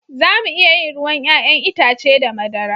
Za mu iya yin ruwan 'ya'yan itace da madara